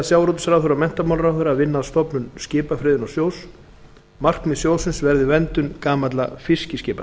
sjávarútvegsráðherra og menntamálaráðherra að vinna að stofnun skipafriðunarsjóðs markmið sjóðsins verði verndun gamalla fiskiskipa